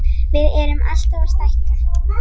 Við erum alltaf að stækka.